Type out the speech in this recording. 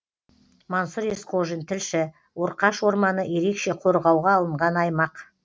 мансұр есқожин тілші орқаш орманы ерекше қорғауға алынған аймақ